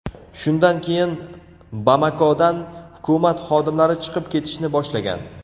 Shundan keyin Bamakodan hukumat xodimlari chiqib ketishni boshlagan.